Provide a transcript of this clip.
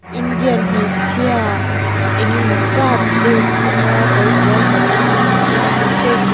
indian hmeichhia eng emaw zat stage chunga kawrfual ha chung in stage--